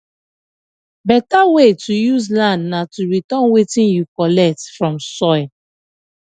beta way to use land na to return wetin you collect from soil